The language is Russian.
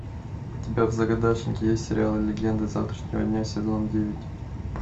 у тебя в загашнике есть сериал легенда завтрашнего дня сезон девять